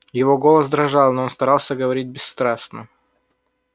его голос дрожал но он старался говорить бесстрастно